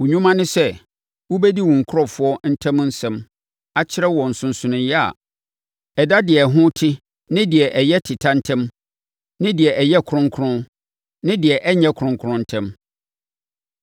Wo nnwuma ne sɛ, wobɛdi wo nkurɔfoɔ ntam nsɛm akyerɛ wɔn nsonsonoeɛ a ɛda deɛ ɛho te ne deɛ ɛyɛ teta ntam ne deɛ ɛyɛ kronkron ne deɛ ɛnyɛ kronkron ntam,